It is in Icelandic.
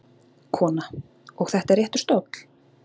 Kona: Og þetta er réttur stóll?